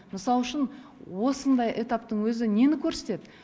мысалы үшін осындай этаптың өзі нені көрсетеді